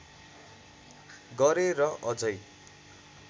गरे र अझै